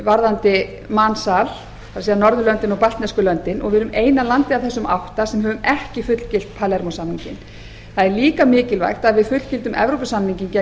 varðandi mansal það er norðurlöndin og baltnesku löndin og við erum eina landið af þessum átta sem höfum ekki fullgilt palermó samninginn það er líka mikilvægt að við fullgildum evrópusamninginn gegn